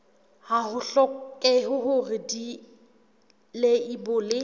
ha ho hlokehe hore dileibole